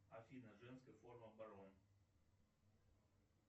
афина женская форма барон